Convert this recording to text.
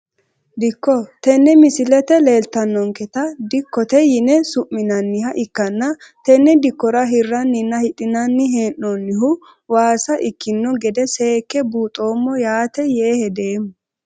Dikko tene misilete leeltanonketa dikkote yine su`minaniha ikkana tene dikora hiraninna hidhinani hee`noonihu waasa ikino gede seeke buuxomo yaate yee hedeemo.